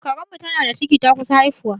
Karen mu tana da ciki, ta kusa haifuwa